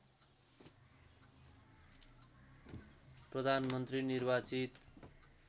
प्रधानमन्त्री निर्वाचित